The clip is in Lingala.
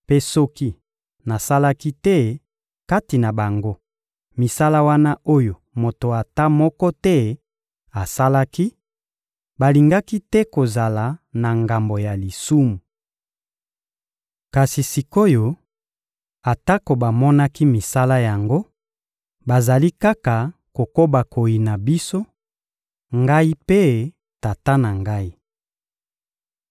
Mpe soki nasalaki te, kati na bango, misala wana oyo moto ata moko te asalaki, balingaki te kozala na ngambo ya lisumu. Kasi sik’oyo, atako bamonaki misala yango, bazali kaka kokoba koyina biso: Ngai mpe Tata na Ngai.